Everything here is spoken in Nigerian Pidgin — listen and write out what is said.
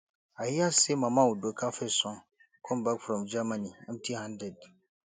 i hear say mama udoka first son come back from germany empty handed